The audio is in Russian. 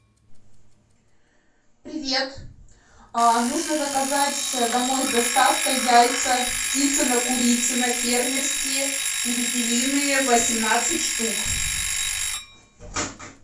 привет нужно заказать домой с доставкой яйца птицыно курицыно фермерские перепелиные восемнадцать штук